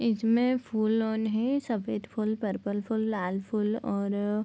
इसमें फूल ओन है सफ़ेद फूल पर्पल फूल लाल फूल और --